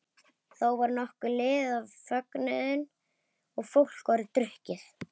Þá var nokkuð liðið á fögnuðinn og fólk orðið drukkið.